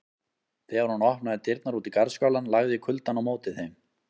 Þegar hún opnaði dyrnar út í garðskálann lagði kuldann á móti þeim.